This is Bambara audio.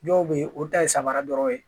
Dɔw bɛ yen olu ta ye samara dɔrɔn ye